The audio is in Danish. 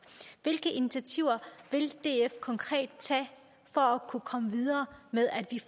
hvilke initiativer vil df så konkret tage for at komme videre med at